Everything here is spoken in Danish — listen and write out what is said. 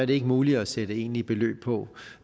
det ikke muligt at sætte egentlige beløb på